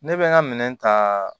Ne bɛ n ka minɛn ta